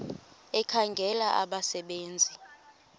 ekhangela abasebe nzi